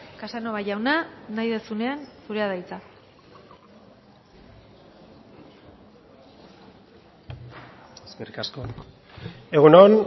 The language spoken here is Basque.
casanova jauna nahi duzunean zurea da hitza eskerrik asko egun on